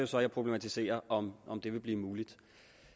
så jeg problematiserer om om det vil blive muligt